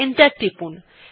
enter টিপুন